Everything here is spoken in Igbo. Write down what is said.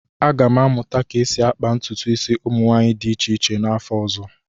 Aga m amụta ka esi akpa ntụtụ isi ụmụ nwanyị dị iche iche n'afọ ọzọ